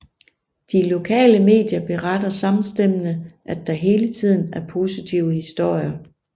De lokale medier beretter samstemmende at der hele tiden er positive historier